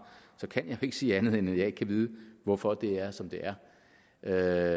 så kan jeg ikke sige andet end at jeg ikke kan vide hvorfor det er som det er